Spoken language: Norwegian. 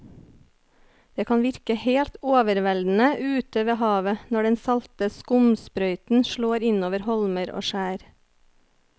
Det kan virke helt overveldende ute ved havet når den salte skumsprøyten slår innover holmer og skjær.